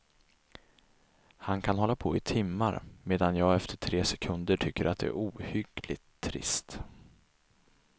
Han kan hålla på i timmar, medan jag efter tre sekunder tycker det är ohyggligt trist.